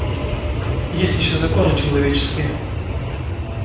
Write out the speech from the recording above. есть ещё законы человеческие